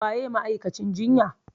Waye ma'aikacin jinya?